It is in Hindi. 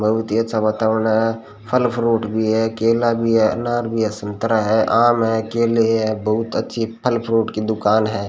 बहुत ही अच्छा वातावरण है फल फ्रूट भी है केला भी है अनार भी है संतरा है आम है केले है बहुत अच्छी फल फ्रूट की दुकान है।